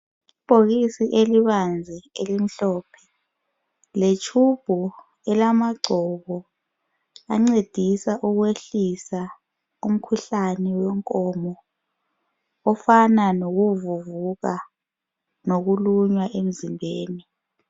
Ibhokisi elibanzi elimhlophe letshubhu elamagcobo ancedisa ukwehlisa umkhuhlane wenkomo, ofana lokuvuvuka lokulunywa emzimbeni.